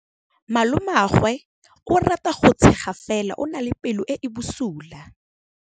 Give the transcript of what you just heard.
Malomagwe o rata go tshega fela o na le pelo e e bosula.